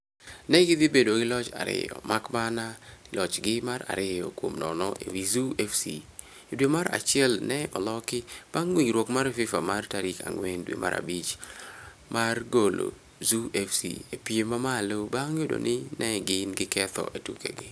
Ne gidhi bedo gi loch ariyo, mak mana ni lochgi mar ariyo kuom nono e wi Zoo FC e dwe mar achiel ne oloki bang' winjruok mar FiFa mar tarik ang'wen due mar abich mar golo Zoo FC e piem mamalo bang' yudo ni ne gin gi ketho e tukegi.